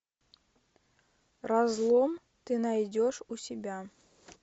разлом ты найдешь у себя